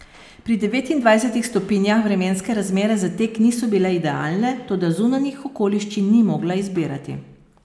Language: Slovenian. Pri devetindvajsetih stopinjah vremenske razmere za tek niso bile idealne, toda zunanjih okoliščin ni mogla izbirati.